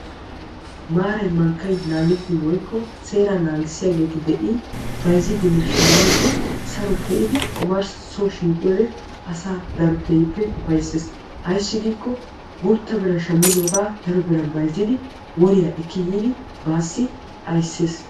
Maaray mankkay naagettin woykko seeraa naagissiyaageeti de"in bayzziiddinne shammiiddi saro pee"idi omarssi soo shiiqiyoodee asaa daro keehippe ufaysses. Ayssi giikko guutta biran shammidoogaa daro biran bayzzidi woriyaa ekki yiidi baassi aysses.